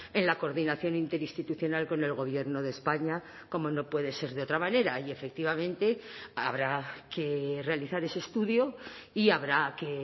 en la coordinación interinstitucional con el gobierno de españa como no puede ser de otra manera y efectivamente habrá que realizar ese estudio y habrá que